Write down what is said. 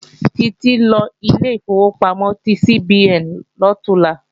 Títí ńlọ ilé ìfowópamọ́ ti CBN lọ̀túnla